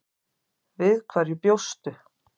Við hverju bjóstu?